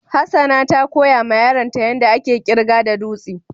Hassana ta koya ma yaron ta yanda ake kirga da dutsi.